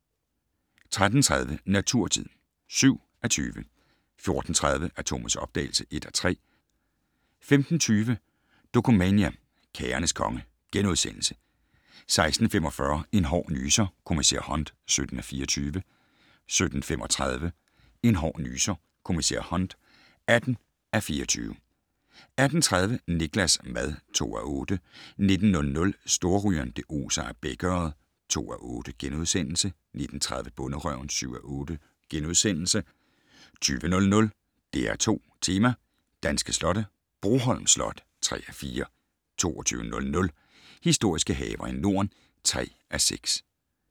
13:30: Naturtid (7:20) 14:30: Atomets opdagelse (1:3) 15:20: Dokumania: Kagernes konge * 16:45: En hård nyser: Kommissær Hunt (17:24) 17:35: En hård nyser: Kommissær Hunt (18:24) 18:30: Niklas' mad (2:8) 19:00: Storrygeren - det oser af bækørred (2:8)* 19:30: Bonderøven (7:8)* 20:00: DR2 Tema: Danske slotte - Broholm Slot (3:4) 22:00: Historiske haver i Norden (3:6)